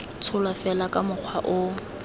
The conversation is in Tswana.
tsholwa fela ka mokgwa o